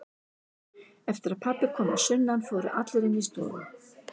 Eftir að pabbi kom að sunnan fóru allir inn í stofu.